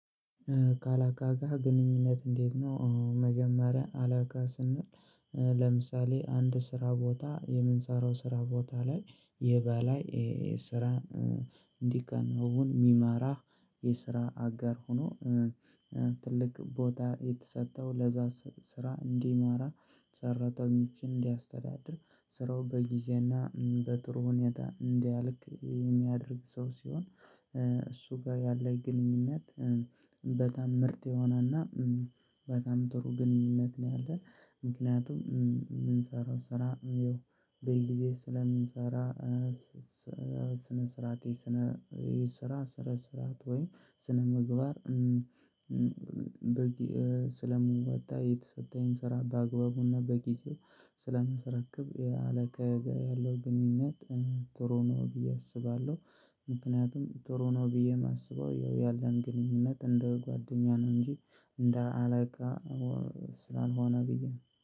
ካለቃሀ ጋ ግንኙነት እንዴት ነው? መጀመሪያ አለቃ ስንል ለምሳሌ አንድ ስራ ቦታ የምንሰራው ስራ ቦታ ላይ የበላይ ስራ እንዲከናወን የሚማራ የስራ አጋር ሆኖ። ትልቅ ቦታ የተሰጠው ለዛ ስራ እንዲማራ ሰራተኞችን እንዲያስተዳድር ስራው በጊዜና በጥሩ ሁኔታ እንዲያልቅ የሚያደርግ ሰው ሲሆን እሱ ጋር ያለኝ ግንኙነት በጣም ምርት የሆነና በጣም ጥሩ ግንኙነት ነው ያለን። ምክንያቱም የምንሰራው ስራ ያው በጊዜ ስለምንሰራ ስነ ስራቴ ስነ የስራ ስራ ስራት ወይም ስነምግባር። በግ ስለምወጣ የተሰጠኝን ስራ በአግባቡና በጊዜው ስለማሰረክብ ያለቀቃዬ ጋር ያለው ግንኙነት ጥሩ ነው ብዬ አስባለሁ። ምክንያቱም ጥሩ ነው ብዬ የማስበው ያለን ግንኙነት እንደ ጓደኛ ነው እንጂ እንደ አለቃ ስላልሆነ ብዬ ነው